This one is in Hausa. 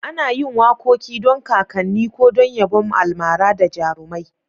Ana yin wakoki don kakanni ko don yabon almara da jarumai.